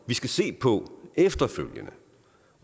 vi skal se på efterfølgende